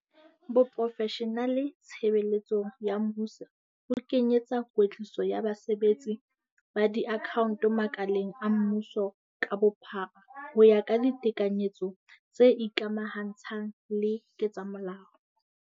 Boprofeshenale tshebe letsong ya mmuso bo kenye etsa kwetliso ya basebetsi ba diakhaonto makaleng a mmuso ka bophara ho ya ka ditekanyetso tse ikamahantshang le ketsamolao.